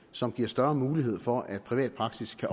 som giver større mulighed for at privat praksis kan